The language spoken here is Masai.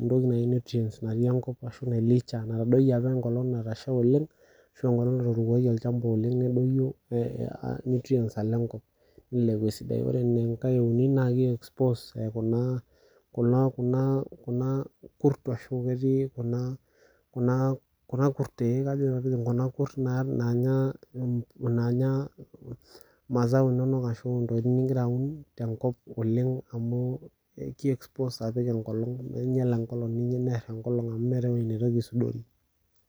etoki naji nutrients natii enkop ashu, nailicha natadoyie apa ekolong natasha oleng, ashu ekolong natuturoki olchamba oleng nedoyio nutrients alo enkop nilepu esidai. Ore enkae euni na ki expose kuna kurt ashu, ketii kuna kurt eh kajo kuna kurt naanya masao inonok ashu, intokitin nigira aun tenkop oleng amu, ki expose apik ekolong ninyial ekolong dii ninye near ekolong amu meeta ewueji neitoki aisudori.